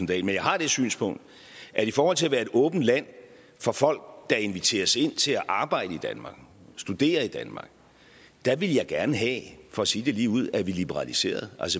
dahl men jeg har det synspunkt at i forhold til at være et åbent land for folk der inviteres ind til at arbejde i danmark studere i danmark ville jeg gerne have for sige det ligeud at vi liberaliserede